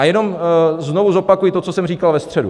A jenom znovu zopakuji to, co jsem říkal ve středu.